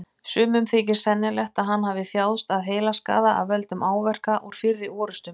Sumum þykir sennilegt að hann hafi þjáðst af heilaskaða af völdum áverka úr fyrri orrustum.